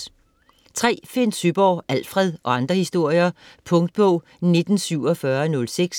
Søeborg, Finn: Alfred - og andre historier Punktbog 194706